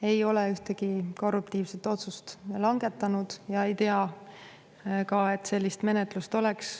Ei ole ühtegi korruptiivset otsust langetanud ja ei tea ka, et sellist menetlust oleks.